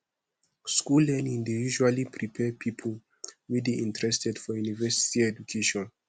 school learning dey usually prepare pipo wey dey interested for university education